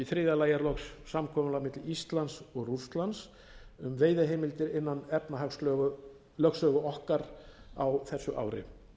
í þriðja lagi er loks samkomulag milli íslands og rússlands um veiðiheimildir innan efnahagslögsögu okkar á þessu